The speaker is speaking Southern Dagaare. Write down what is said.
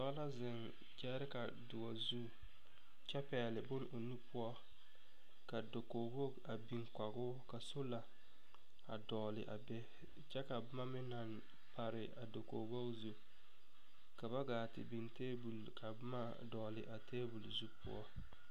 Dɔɔ la zeŋ gyɛɛreka doɔ zu kyɛ pɛɛle bon o nu poɔ ka dokoge woge a biŋ kogoo ka sola a dɔɔle a be kyɛ ka bomma meŋ naŋ pare a dokoge woge zu ka ba gaa te biŋ tabol ka bomma a dɔɔle a tabol poɔ.